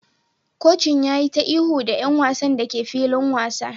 Kocin ya yi ta ihu da 'yan wasan da ke filin wasa